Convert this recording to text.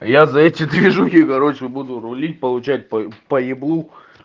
я за эти движухи короче буду рулить получать по еблу